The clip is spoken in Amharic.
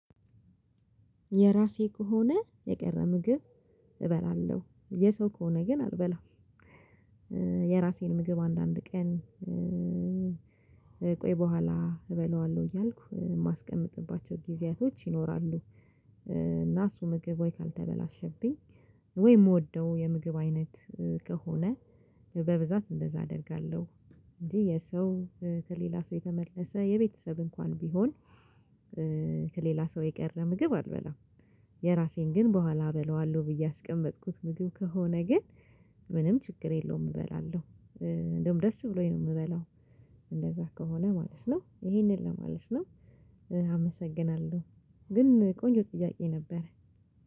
የራሴ ከሆነ የቀረ ምግብ እበላለሁ። የሰው ከሆነ ግን አልበላም። የራሴን ምግብ አንዳንድ ቀን ቆይ በኋላ እበላዋለሁ እያልኩ የማስቀምጥባቸው ጊዜያቶች ይኖራሉ እና እሱ ምግብ ወይ ካልተበላሸብኝ ወይ የምወደው የምግብ አይነት ከሆነ በብዛት እንደዛ አደርጋለሁ። እንጂ የሰው ከሌላ ሰው የተመለሰ የቤተሰብ እንኳን ቢሆን ከሌላ ሰው የቀረ ምግብ አልበላም። የራሴን ግን በኋላ እበላዋለሁ ብዬ ያስቀመጥኩት ምግብ ከሆነ ግን ምንም ችግር የለውም እበላለሁ። እንደውም ደስ ብሎኝ ነው የምበላው። እንደዛ ከሆነ ማለት ነው። ይህንን ለማለት ነው። አመሰግናለሁ። ግን ቆንጆ ጥያቄ ነበረ።